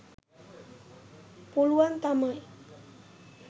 පුළුවන් තමයි.